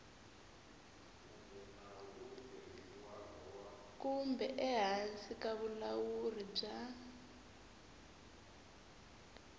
kumbe ehansi ka vulawuri bya